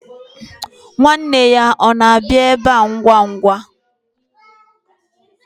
Nwanne ya ọ na-abịa ebe a ngwa ngwa?